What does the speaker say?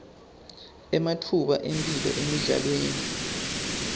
ematfuba emphilo emidlalweni